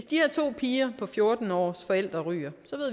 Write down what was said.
de her to piger på fjorten år ryger